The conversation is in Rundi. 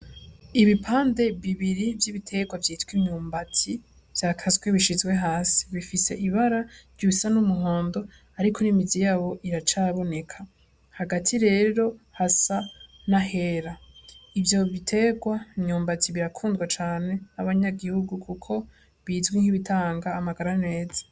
Ibipande bibiri vy'ibiterwa vyitwa imyumbati, vyakaswe bishizwe hasi. Bifise ibara risa n'umuhondo, ariko n'imizi yawo iracaboneka. Hagati rero hasa n'ahera. Ivyo biterwa imyumati birakundwa cane n'abanyagihugu kuko bizwi nk'ibitanga amagara meza.